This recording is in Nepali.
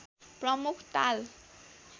प्रमुख ताल